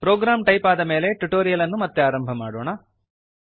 program type ಆದಮೇಲೆ tutorial ಅನ್ನು ಮತ್ತೆ ಆರಂಭ ಮಾಡೋಣ